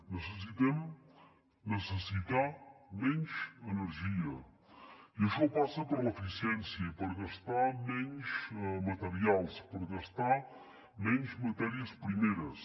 necessitem necessitar menys energia i això passa per l’eficiència i per gastar menys materials per gastar menys matèries primeres